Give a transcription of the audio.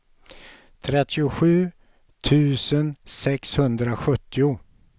trettiosju tusen sexhundrasjuttio